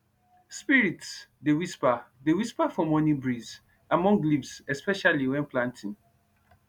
spirits dey whisper dey whisper for morning breeze among leaves especially when planting